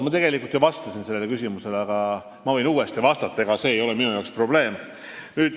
Ma tegelikult vastasin sellele küsimusele, aga ma võin uuesti vastata, see ei ole probleem.